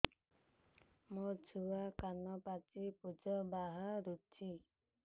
ମୋ ଛୁଆ କାନ ପାଚି ପୂଜ ବାହାରୁଚି